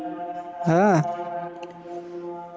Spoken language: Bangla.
হ্যাঁ